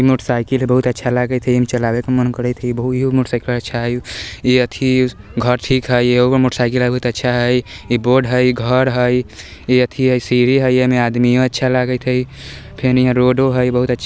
इ motor cycle हई इ बहुत अच्छा लगत हई ऐमा चलावे के मन करत हई मोटर साइकिल अच्छा हई इ एथी घर ठीक हई एगो मोटर साइकिल बहुत अच्छा हई इ बोर्ड हई इ घर हई इ एथी हई सीढ़ी हई एमे आदमियों अच्छा लागत हई फिर इहाँ रोडो हई बहुत अछा --